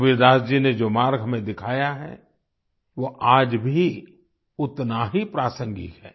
कबीरदास जी ने जो मार्ग हमें दिखायाहै वो आज भी उतना ही प्रासंगिक है